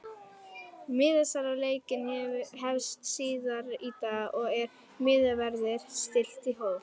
MIðasala á leikinn hefst síðar í dag og er miðaverði stillt í hóf.